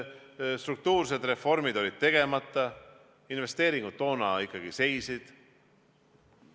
Struktuursed reformid olid tegemata, investeeringud toona ikkagi seisid.